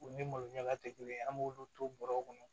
U ni malo ɲaga tɛ kelen an b'olu to bɔrɔ kɔnɔ